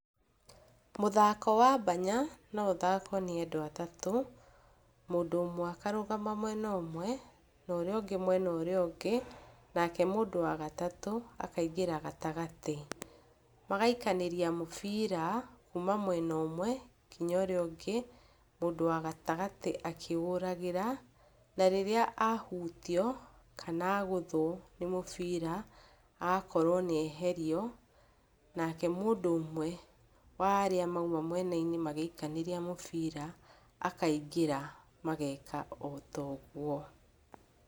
Mũthako wa mbanya no ũthakwo nĩ andũ atatũ, mũndũ ũmwe akarũgama mwena ũmwe na ũrĩa ũngĩ mwena ũrĩa ũngĩ, nake mũndũ wa gatatũ akaingĩra gatagatĩ. Magaikanĩria mũbira kuma mwena ũmwe kinya ũrĩa ũngĩ, mũndũ wa gatagatĩ akĩũragĩra. Na, rĩrĩa ahutio kana agũthwo nĩ mũbira, agakorwo nĩeherio, nake mũndũ ũmwe wa arĩa mauma mwena-inĩ magĩikanĩria mũbira akaingĩra mageka o ta ũguo.